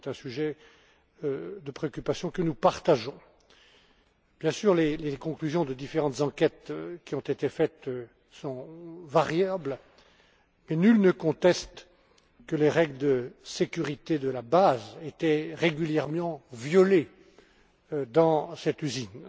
c'est un sujet de préoccupation que nous partageons. Bien sûr, les conclusions de différentes enquêtes qui ont été menées sont variables, mais nul ne conteste que les règles de sécurité les plus élémentaires étaient régulièrement violées dans cette usine.